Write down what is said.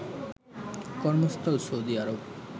কর্মস্থল সৌদি আরব